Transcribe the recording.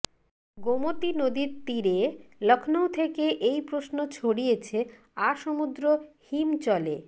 গোমতী নদীর তীরে লখনউ থেকে এই প্রশ্ন ছড়িয়েছে আসমুদ্র হিমচলে